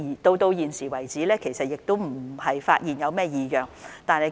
直到目前為止，我們並沒有發現任何異樣。